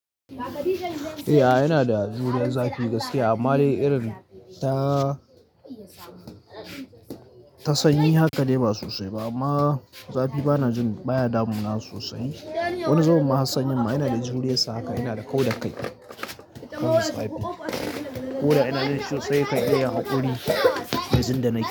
Eh, yana da juriyar zafi gaskiya amma dai irin ta ta sanyi haka dai ba sosai ba amma zafi bana jin baya damuna sosai. Wani zubin ma hassan yinma ina da juriyar sa haka, ina da kau da kai. Ko da ina na ji sosai nikan iya yin haƙuri, da jin da nake.